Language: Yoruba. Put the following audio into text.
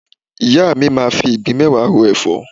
Ìyá mi máa fi ìgbín mẹ́wàá ro ẹ̀fọ́.